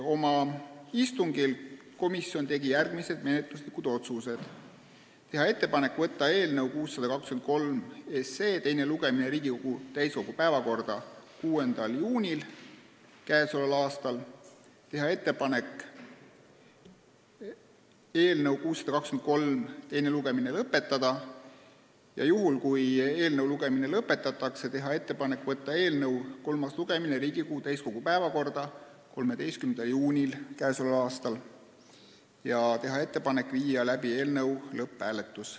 Oma istungil tegi komisjon ka järgmised menetluslikud otsused: teha ettepanek võtta eelnõu 623 teine lugemine Riigikogu täiskogu päevakorda 6. juuniks k.a, teha ettepanek eelnõu 623 teine lugemine lõpetada ja juhul, kui teine lugemine lõpetatakse, võtta eelnõu kolmas lugemine Riigikogu täiskogu päevakorda 13. juuniks k.a ja viia läbi eelnõu lõpphääletus.